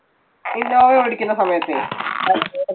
innova ഓടിക്കുന്ന സമയത്തെ.